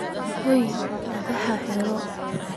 Xoyoo madhaxa iixir.